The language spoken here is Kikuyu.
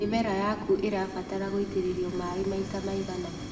Mĩmera yaku ĩrabatara gũitĩrĩrio maĩ maita maigana.